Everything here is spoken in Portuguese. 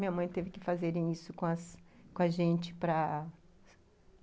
Minha mãe teve que fazer isso com a gente para